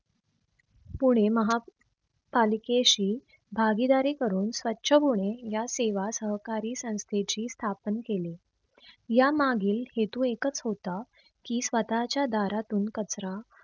पुणे माहा पालिकेशी भागीदारी करून स्वछ पुणे या सेवा सहकारी संस्थेची स्थापन केला. या मागील हेतू एकच होता की, स्वतःच्या दारातून कचरा